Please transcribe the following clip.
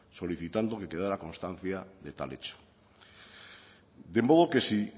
solicitando que quedara constancia de tal hecho de modo que si